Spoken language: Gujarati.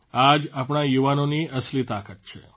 આ જ આપણા યુવાનોની અસલી તાકાત છે